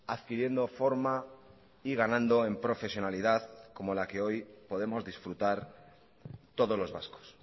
adquiriendo forma y ganando en profesionalidad como la que hoy podemos disfrutar todos los vascos